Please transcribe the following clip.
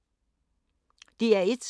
DR1